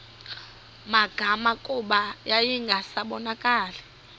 magama kuba yayingasabonakali